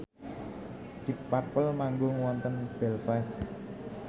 deep purple manggung wonten Belfast